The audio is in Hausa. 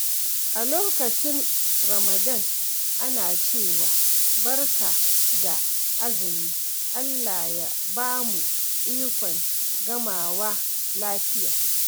A lokacin Ramadan, ana cewa “Barka da azumi, Allah ya ba mu ikon gamawa lafiya.”